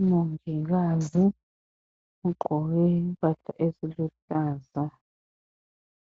Umongikazi ugqoke impahla eziluhlaza